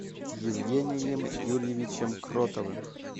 евгением юрьевичем кротовым